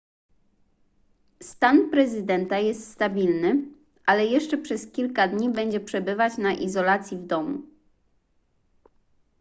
stan prezydenta jest stabilny ale jeszcze przez kilka dni będzie przebywać na izolacji w domu